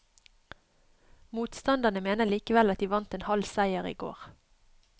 Motstanderne mener likevel at de vant en halv seier i går.